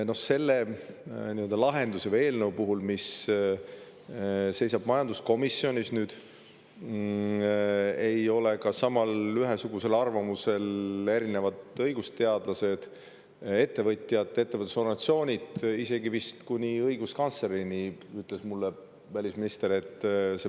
Ka selle nii-öelda lahenduse või eelnõu puhul, mis seisab nüüd majanduskomisjonis, ei ole erinevad õigusteadlased, ettevõtjad, ettevõtlusorganisatsioonid ühesugusel arvamusel, isegi vist kuni õiguskantslerini välja, nagu ütles mulle välisminister.